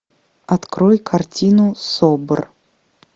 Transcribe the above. открой картину собр